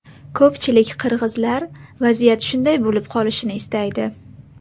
Ko‘pchilik qirg‘izlar vaziyat shunday bo‘lib qolishini istaydi.